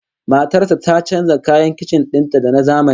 Matar sa ta canja kayan kicin din ta da na zamani